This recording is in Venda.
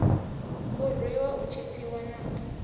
u rwiwa u tshipiwa na